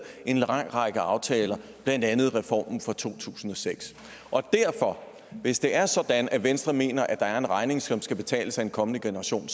en lang række aftaler blandt andet reformen fra to tusind og seks og hvis det er sådan at venstre mener at der er en regning som skal betales af den kommende generation